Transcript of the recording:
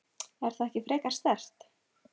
Er það ekki frekar sterkt?